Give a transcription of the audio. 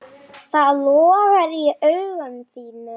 Það logar í augum þínum.